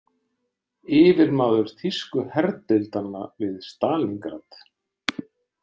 Yfirmaður þýsku herdeildanna við Stalíngrad.